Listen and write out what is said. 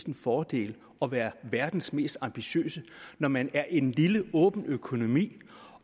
en fordel at være verdens mest ambitiøse når man er en lille åben økonomi